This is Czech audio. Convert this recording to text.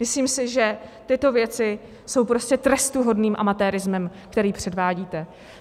Myslím si, že tyto věci jsou prostě trestuhodným amatérismem, který předvádíte.